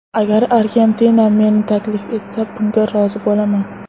Agar Argentina meni taklif etsa, bunga rozi bo‘laman.